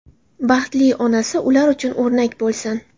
Baxtli onasi ular uchun o‘rnak bo‘lsin.